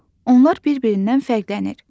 Onlar bir-birindən fərqlənir.